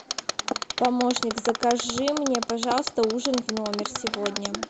помощник закажи мне пожалуйста ужин в номер сегодня